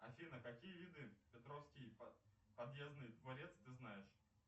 афина какие виды петровский подъездный дворец ты знаешь